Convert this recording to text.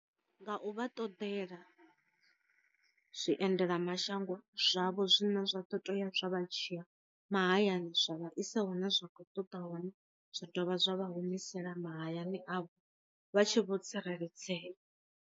Nga u vha ṱodela zwi endela mashango zwavho zwine zwa tea zwa vha dzhiya ma hayani zwa vhaisa hu na zwa khou ṱoḓa hone zwa dovha zwa vha humisela mahayani avho vha tshi vho tsireledzea.